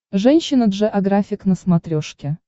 женщина джеографик на смотрешке